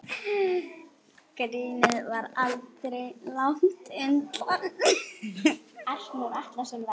Grínið var aldrei langt undan.